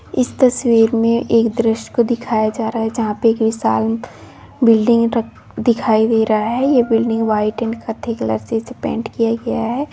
इस तस्वीर में एक दृश्य को दिखाया जा रहा है जहां पर एक विशाल बिल्डिंग र- दिखाई दे रहा है यह बिल्डिंग व्हाइट एंड कत्थई कलर से इसे पेंट किया गया है।